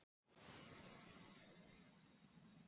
Ég get verið mjög ákveðin, snögg og kraftmikil.